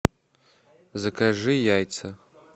закажи яйца